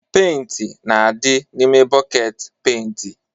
Penti na-adị n'ime bọket penti